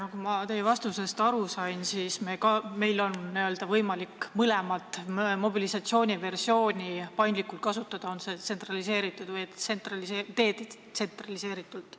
Nagu ma teie vastusest aru sain, siis meil on võimalik paindlikult kasutada n-ö mõlemat mobilisatsiooniversiooni, kas tsentraliseeritut või detsentraliseeritut.